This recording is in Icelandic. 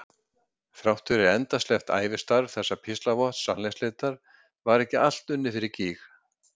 Þrátt fyrir endasleppt ævistarf þessa píslarvotts sannleiksleitar var ekki allt unnið fyrir gýg.